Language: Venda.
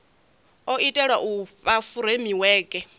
o itelwa u fha furemiweke